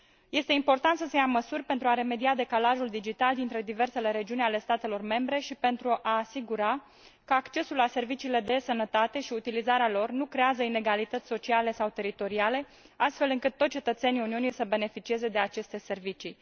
Este important să se ia măsuri pentru a remedia decalajul digital dintre diversele regiuni ale statelor membre și pentru a asigura că accesul la serviciile de e Sănătate și utilizarea lor nu creează inegalități sociale sau teritoriale, astfel încât toți cetățenii Uniunii să beneficieze de aceste servicii.